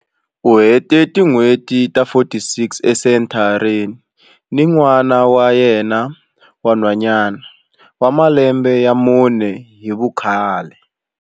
U hete tin'hweti ta 46 esenthareni ni n'wana wa yena wa nhwanyana wa malembe ya mune hi vukhale.